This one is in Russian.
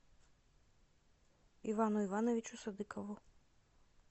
ивану ивановичу садыкову